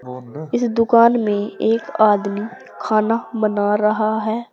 इस दुकान में एक आदमी खाना बना रहा है।